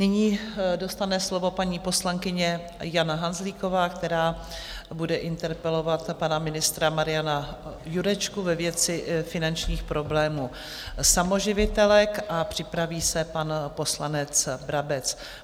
Nyní dostane slovo paní poslankyně Jana Hanzlíková, která bude interpelovat pana ministra Mariana Jurečku ve věci finančních problémů samoživitelek, a připraví se pan poslanec Brabec.